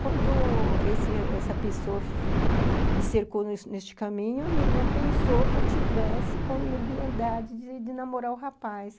Quando esse essa a pessoa me cercou neste caminho, minha irmã pensou que eu estivesse com leviandade de namorar o rapaz.